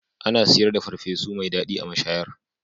Ana siyar da farfesu mai daɗi a mashayar